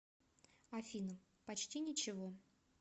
афина почти ничего